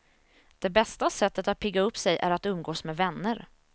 Det bästa sättet att pigga upp sig är att umgås med vänner.